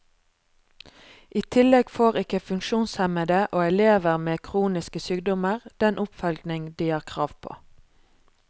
I tillegg får ikke funksjonshemmede og elever med kroniske sykdommer den oppfølging de har krav på.